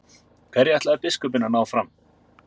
Hverju ætlaði biskup að ná fram?